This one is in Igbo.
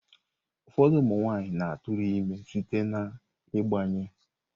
Ụfọdụ ụmụ nwanyị na-atụrụ ime site n'ịgbanye.